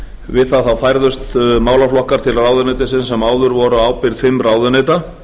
við það færðust málaflokkar til ráðuneytisins sem áður voru á ábyrgð fimm ráðuneyta